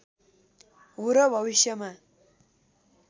हो र भविष्यमा